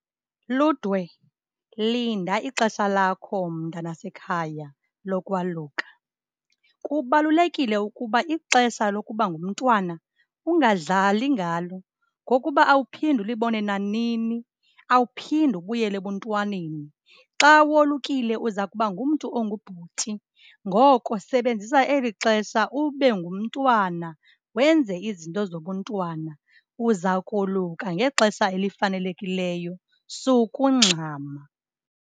Ludwe, linda ixesha lakho mntanasekhaya lokwaluka. Kubalulekile ukuba ixesha lokuba ngumntwana ungadlali ngalo ngokuba awuphindi ulibone nanini, awuphindi ubuyele ebuntwaneni. Xa wolukile uza kuba ngumntu ongubhuti, ngoko sebenzisa elixesha ube ngumntwana wenze izinto zobuntwana. Uzawukoluka ngexesha elifanelekileyo, sukungxama.